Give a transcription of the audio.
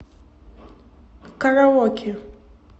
караоке